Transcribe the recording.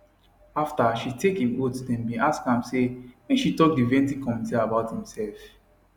afta she take im oath dem bin ask am say make she tok di vetting committee about imserf